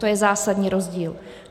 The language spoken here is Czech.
To je zásadní rozdíl.